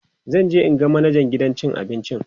zanje in ga manajan gidan cin abincin